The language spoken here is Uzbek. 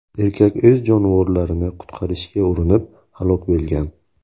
Erkak o‘z jonivorlarini qutqarishga urinib, halok bo‘lgan.